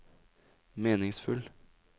meningsfull